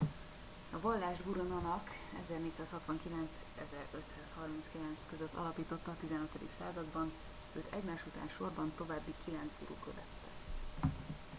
a vallást guru nanak 1469-1539 alapította a 15. században. őt egymás után sorban további kilenc guru követte